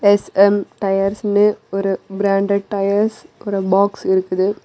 SM டயர்ஸ்னு ஒரு branded tyres ஓட பாக்ஸ் இருக்குது.